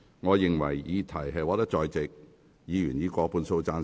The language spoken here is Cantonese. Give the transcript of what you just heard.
我認為議題獲得在席議員以過半數贊成。